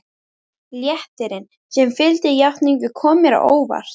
Léttirinn sem fylgdi játningunni kom mér á óvart.